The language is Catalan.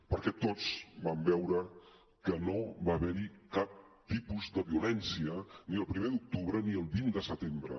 perquè tots vam veure que no va haver hi cap tipus de violència ni el primer d’octubre ni el vint de setembre